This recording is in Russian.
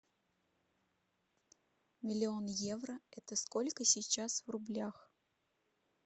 миллион евро это сколько сейчас в рублях